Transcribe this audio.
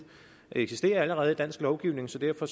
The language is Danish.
eksisterer allerede i dansk lovgivning så derfor